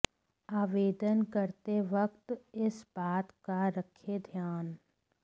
आवेदन करते वक्त इस बात का रखें ध्यान